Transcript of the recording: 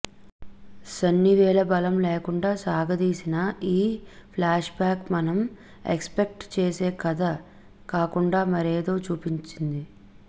సన్నివేళ బలం లేకుండా సాగదీసిన ఈ ఫ్లాష్బ్యాక్ మనం ఎక్స్పెక్ట్ చేసే కథ కాకుండా మరేదో చూపిస్తుంది